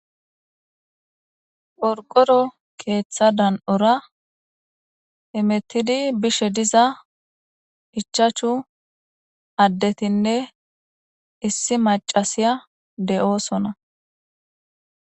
Qorqoro keeththa dan7ora imettidi bishe diza ichaachu addetinne issi macasiya de7oosona